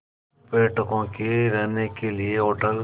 पर्यटकों के रहने के लिए होटल